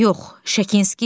Yox, Şekinski heç biri.